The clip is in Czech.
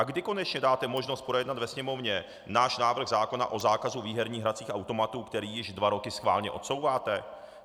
A kdy konečně dáte možnost projednat ve Sněmovně náš návrh zákona o zákazu výherních hracích automatů, který již dva roky schválně odsouváte?